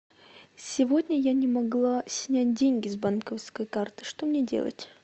сегодня я не могла снять деньги с банковской карты что мне делать